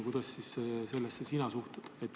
Kuidas sina sellesse suhtud?